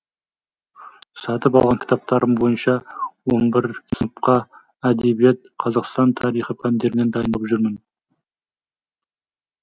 сатып алған кітаптарым бойынша он бір сыныпқа әдебиет қазақстан тарихы пәндерінен дайындалып жүрмін